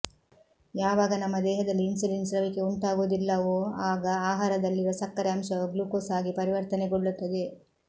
ಯಾವಾಗ ನಮ್ಮ ದೇಹದಲ್ಲಿ ಇನ್ಸುಲಿನ್ ಸ್ರವಿಕೆ ಉಂಟಾಗುವುದಿಲ್ಲವೋ ಆಗ ಆಹಾರದಲ್ಲಿರುವ ಸಕ್ಕರೆ ಅಂಶವು ಗ್ಲೂಕೋಸ್ಆಗಿ ಪರಿವರ್ತನೆಗೊಳ್ಳುತ್ತದೆ